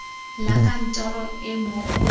la kantoro e mo go